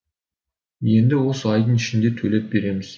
енді осы айдың ішінде төлеп береміз